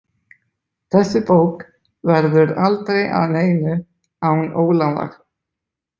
Þessi bók verður aldrei að neinu án Ólafar.